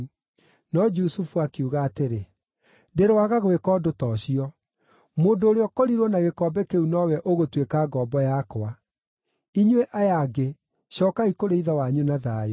No Jusufu akiuga atĩrĩ, “Ndĩroaga gwĩka ũndũ ta ũcio! Mũndũ ũrĩa ũkorirwo na gĩkombe kĩu nowe ũgũtuĩka ngombo yakwa. Inyuĩ aya angĩ, cookai kũrĩ ithe wanyu na thayũ.”